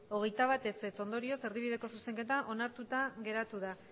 hogeita bat ondorioz erdibideko zuzenketa onartuta geratu da